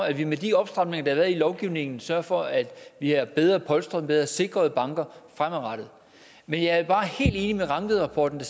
at vi med de opstramninger der i lovgivningen sørger for at vi er bedre polstret og har bedre sikrede banker fremadrettet men jeg er helt enig med rangvidrapporten